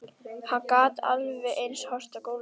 Hann gat alveg eins horft á gólfið.